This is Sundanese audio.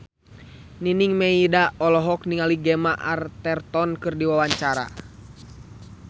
Nining Meida olohok ningali Gemma Arterton keur diwawancara